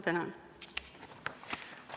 Tänan!